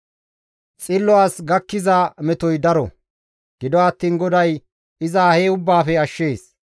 Xillo as gakkiza metoy daro; gido attiin GODAY iza he ubbaafe ashshees.